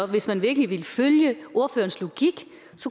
hvis man virkelig ville følge ordførerens logik